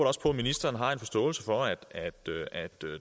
også på at ministeren har en forståelse for at